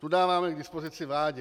Tu dáváme k dispozici vládě.